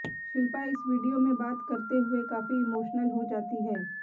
शिल्पा इस वीडियो में बात करते हुए काफी इमोशनल हो जाती है